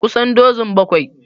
Kusan dozun bakwai